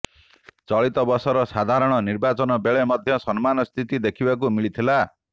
ଚଳିତ ବର୍ଷର ସାଧାରଣ ନିର୍ବାଚନ ବେଳେ ମଧ୍ୟ ସମାନ ସ୍ଥିତି ଦେଖିବାକୁ ମିଳିଥିଲା